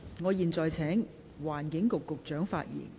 我現在請環境局局長發言。